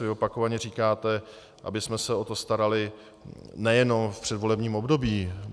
Vy opakovaně říkáte, abychom se o to starali nejenom v předvolebním období.